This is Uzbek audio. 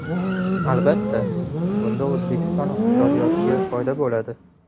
Albatta, bunda O‘zbekiston iqtisodiyotiga foyda bo‘ladi.